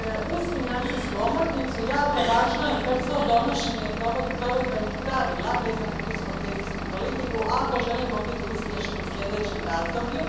Uz financijsku omotnicu jako je važno brzo donošenje provedbenih pravila vezanih uz kohezijsku politiku ako želimo biti uspješni u sljedećem razdoblju.